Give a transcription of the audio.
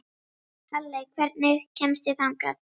Halley, hvernig kemst ég þangað?